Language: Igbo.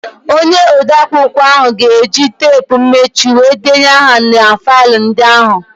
Onye odeakwụkwọ ahụ ga-eji teepu mmechi were denye aha na faịlụ ndị ahụ.